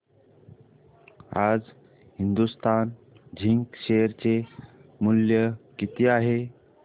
आज Hindustan Zinc share चे मूल्य किती आहे